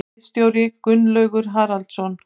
Ritstjóri Gunnlaugur Haraldsson.